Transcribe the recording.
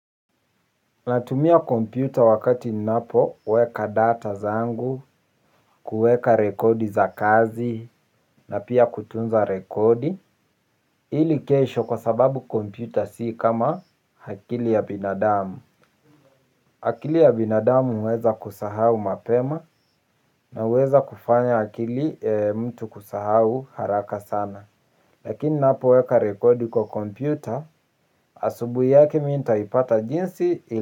Natumia kompyuta wakati ninapo weka data zangu kuweka rekodi za kazi na pia kutunza rekodi ili kesho kwa sababu kompyuta si kama akili ya binadamu akili ya binadamu huweza kusahau mapema na huweza kufanya akili mtu kusahau haraka sana. Lakini ninapo weka rekodi kwa kompyuta asubuhi yake mi ntaipata jinsi ili.